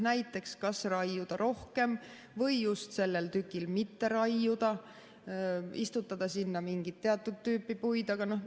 Näiteks, kas raiuda rohkem või just sellel tükil mitte raiuda, istutada sinna mingit teatud tüüpi puid vm.